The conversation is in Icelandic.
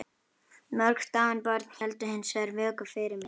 Mörg dáin börn héldu hins vegar vöku fyrir mér.